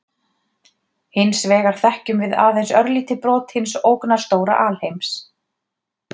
Hins vegar þekkjum við aðeins örlítið brot hins ógnarstóra alheims.